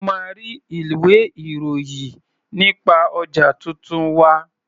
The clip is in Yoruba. O máa rí ilwé-ìròyì nípa ọjà tuntun wa.